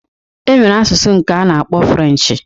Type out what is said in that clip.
E nwere asụsụ nke a na-akpọ Frenchi